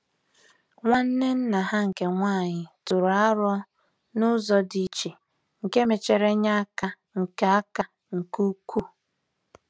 Nwanne nna ha nke nwanyị ya tụrụ aro n'ụzọ dị iche, nke mechara nyere aka nke aka nke ukwuu.